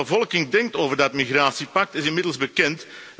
Wat de bevolking denkt over dat migratiepact, is inmiddels bekend.